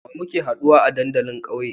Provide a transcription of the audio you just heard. Wa muke haduwa a dandalin ƙauye?